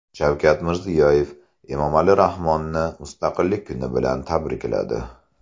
Shavkat Mirziyoyev Emomali Rahmonni Mustaqillik kuni bilan tabrikladi.